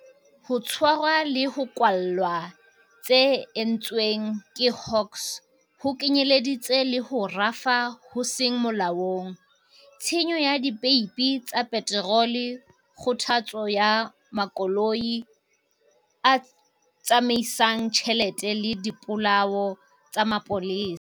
Ho tshwarwa le ho kwallwa tse entsweng ke Hawks ho kenyeleditse le ho rafa ho seng molaong, tshenyo ya dipeipi tsa peterole, kgothotso ya makoloi a tsamaisang tjhelete le dipolao tsa mapolesa.